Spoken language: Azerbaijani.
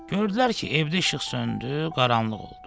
Gördülər ki, evdə işıq söndü, qaranlıq oldu.